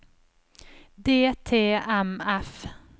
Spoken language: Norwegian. DTMF